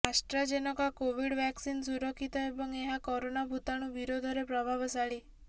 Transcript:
AstraZeneca Covid vaccine ସୁରକ୍ଷିତ ଏବଂ ଏହା କରୋନା ଭୂତାଣୁ ବିରୋଧରେ ପ୍ରଭାବଶାଳୀ